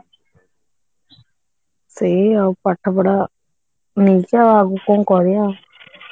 ସେଇ ପାଠପଢା ଜିନିଷ ଆଉ ଆଗକୁ କଣ କରିବା